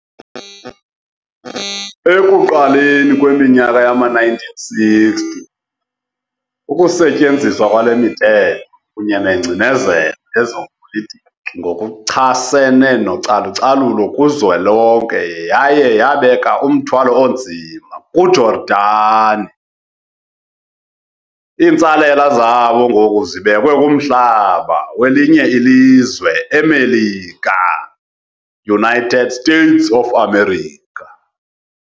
Ekuqaleni kweminyaka yama-1960, ukusetyenziswa kwalemithetho kunye nengcinezelo yezepolitiki ngokuchasene nocalucalulo kuzwelonke yaye yabeka umthwalo onzima ku Jordan. Iintsalela zabo ngoku zibekwe kumhlaba welinye ilizwe eMelika, United States of America.